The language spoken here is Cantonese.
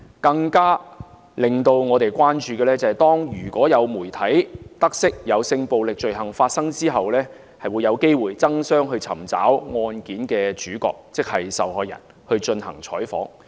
更令我們關注的是，如果媒體得悉有性暴力罪行發生，有機會爭相尋找案件的主角進行採訪。